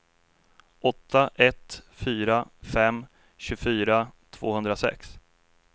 åtta ett fyra fem tjugofyra tvåhundrasex